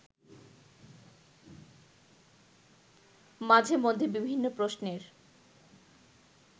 মাঝে মধ্যে বিভিন্ন প্রশ্নের